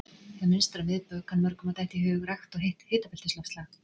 Þegar minnst er á miðbaug kann mörgum að detta í hug rakt og heitt hitabeltisloftslag.